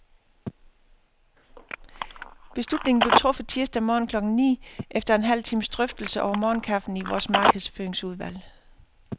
Beslutningen blev truffet tirsdag morgen klokken ni, efter en halv times drøftelse over morgenkaffen i vores markedsføringsudvalg.